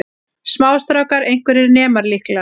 Smástrákar, einhverjir nemar líklega.